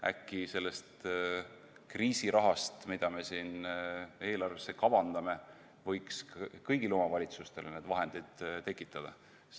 Äkki sellest kriisirahast, mida me siin eelarvesse kavandame, võiks kõigile omavalitsustele need vahendid tekitada?